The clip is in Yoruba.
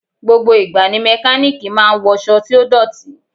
Gbogbo ìgbà ni Mẹkáníkì náà máa ń wọṣọ tí ó dọ̀tí.